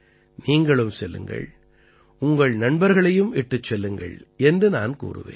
நீங்களும் செல்லுங்கள் உங்கள் நண்பர்களையும் இட்டுச் செல்லுங்கள் என்று நான் கூறுவேன்